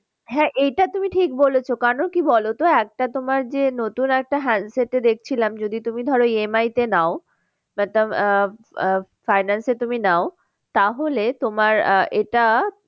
হ্যাঁ এটা তুমি ঠিক বলেছো কেন কি বলতো একটা তোমার যে নতুন একটা handset এ দেখছিলাম যদি তুমি ধরো EMI তে নাও তার কারণ আহ আহ finance তুমি নাও তাহলে তোমার আহ এটা